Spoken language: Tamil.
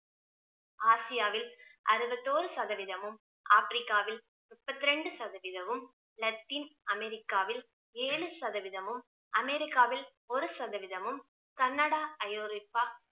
ஆசியாவில் அறுபத்தோரு சதவீதமும், ஆப்ரிக்காவில் முப்பத்திரெண்டு சதவீதமும், லத்தின் அமெரிக்காவில் ஏழு சதவீதமும், அமெரிக்காவில் ஒரு சதவீதமும், கன்னடா, ஐரோப்பா